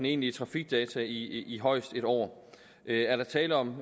egentlige trafikdata i højest en år er der tale om